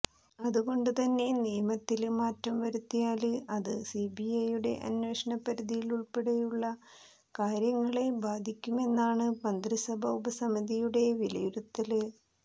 അതുകൊണ്ട് തന്നെ നിയമത്തില് മാറ്റം വരുത്തിയാല് അത് സിബിഐയുടെ അന്വേഷണ പരിധിയുള്പ്പടെയുള്ള കാര്യങ്ങളെ ബാധിക്കുമെന്നാണ് മന്ത്രിസഭാ ഉപസമിതിയുടെ വിലയിരുത്തല്